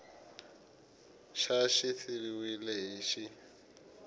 xa xi siviwile hi x